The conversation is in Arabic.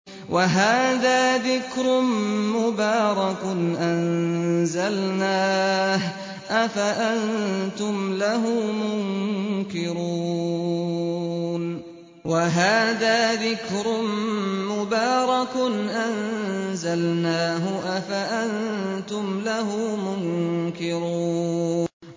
وَهَٰذَا ذِكْرٌ مُّبَارَكٌ أَنزَلْنَاهُ ۚ أَفَأَنتُمْ لَهُ مُنكِرُونَ